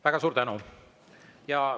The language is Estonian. Väga suur tänu!